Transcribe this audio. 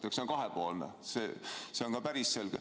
See on kahepoolne, see on ka päris selge.